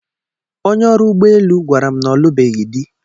Onye ọrụ ụgbọ elu gwara m na ọ lụbeghị dị.